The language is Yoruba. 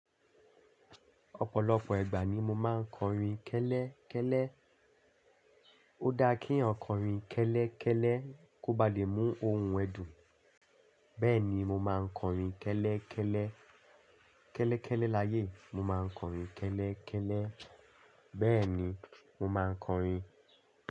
Ọ̀pọ̀lọpọ̀ ìgbà ní mo máa ń kọrin kẹ́lẹ́ kẹ́lẹ́. Ó dá kí ẹ̀yàn kọrin kẹ́lẹ́ kẹ́lẹ́ kó ba lè mú ohun ẹdú. Bẹ́ẹ̀ni mo máa ń kọrin kẹ́lẹ́ kẹ́lẹ́, kẹ́lẹ́ kẹ́lẹ́ láyé. Mo máa ń kọrin kẹ́lẹ́ kẹ́lẹ́. Bẹ́ẹ̀ni mo máa ń kọrin.